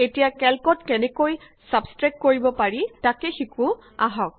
এতিয়া কেল্কত কেনেকৈ ছাব্ছষ্ট্ৰেক্ট কৰিব পাৰি তাক শিকো আহক